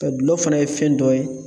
Ka gulɔ fana ye fɛn dɔ ye